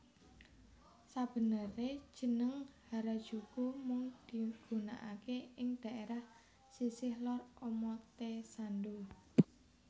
Sabenere jeneng Harajuku mung digunakaké ing dhaérah sisih lor Omotesando